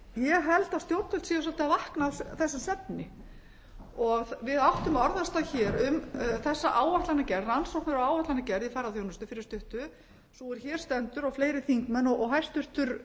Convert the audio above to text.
ég held að stjórnvöld séu svolítið að vakna af þessum svefni við áttum orðastað hér um þessa áætlanagerð rannsóknir og áætlanagerð í ferðaþjónustu fyrir stuttu sú er hér stendur og fleiri þingmenn og hæstvirtur